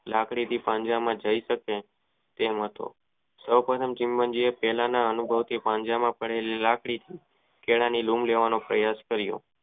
લાકડી થી પાંજરામાં જય શકે તેમ હતો એ સમયે ચિતનજી પહેલા ના અનુભવો થી પાંજરામાં પડેલી લાકડી કેળા ની લઉં લેવાનો પ્રયાસ કરીયો.